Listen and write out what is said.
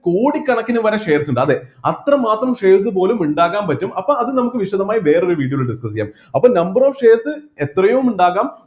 കോടികണക്കിന് വരെ shares ഉണ്ട് അതെ അത്രമാത്രം shares പോലും ഉണ്ടാക്കാൻ പറ്റും അപ്പൊ അത് നമ്മക്ക് വിശദമായി വേറെ ഒരു video ൽ discuss ചെയ്യാം അപ്പൊ number of shares എത്രയോ ഉണ്ടാകാം